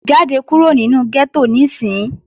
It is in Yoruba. Jáde kúrò nínu gẹ́tò níìsín!